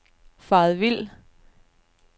faret vild